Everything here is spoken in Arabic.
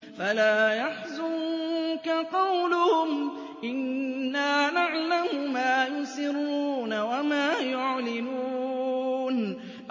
فَلَا يَحْزُنكَ قَوْلُهُمْ ۘ إِنَّا نَعْلَمُ مَا يُسِرُّونَ وَمَا يُعْلِنُونَ